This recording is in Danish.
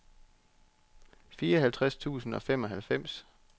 fireoghalvtreds tusind og femoghalvfems